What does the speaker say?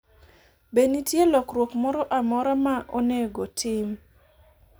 be nitie lokruok moro amora ma onego tim